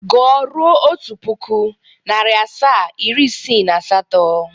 Gụọ ruo otu puku, nari asaa, iri isiii na asato!